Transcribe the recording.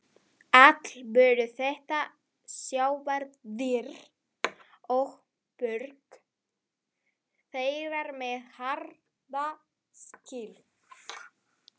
Allt voru þetta sjávardýr og mörg þeirra með harða skel.